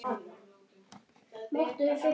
Bera glas mun delinn.